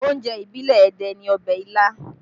Oúnjẹ ìbílẹ̀ Ẹdẹ ni ọbẹ̀ ilá